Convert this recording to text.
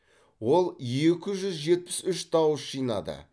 ол екі жүз жетпіс үш дауыс жинады